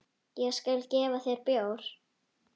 Ég skal gefa þér bjór.